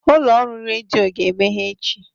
Ụlọ ọrụ redio ga-emeghe echi.